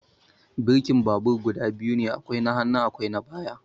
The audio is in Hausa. Birkin babur guda biyu ne, akwai na hannu akwai na baya.